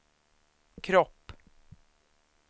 kropp